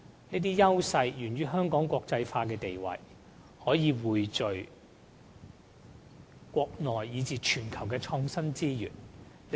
這些優勢源於香港國際化的地位，可以匯聚國內以至全球的創科資源。